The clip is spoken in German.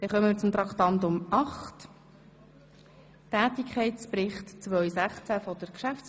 Wir kommen zum Tätigkeitsbericht der GPK.